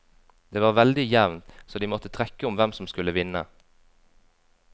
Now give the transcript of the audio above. Det var veldig jevnt, så de måtte trekke om hvem som skulle vinne.